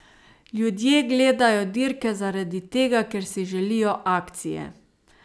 Ljudje gledajo dirke zaradi tega, ker si želijo akcije!